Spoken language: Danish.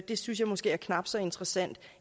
det synes jeg måske er knap så interessant